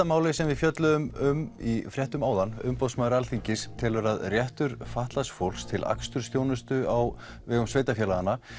máli sem við fjölluðum um í fréttum áðan umboðsmaður Alþingis telur að réttur fatlaðs fólks til akstursþjónustu á vegum sveitarfélaga